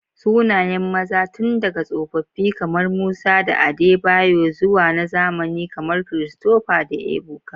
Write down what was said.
Sunayen maza tun daga tsofaffi kamar Musa da Adebayor zuwa na zamani kamar Christopher da Ebuka.